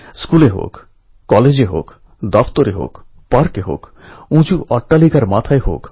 জুলাই এবং আগষ্ট মাস কৃষকদের জন্য এবং সব তরুণদের জন্য খুবই গুরুত্বপূর্ণ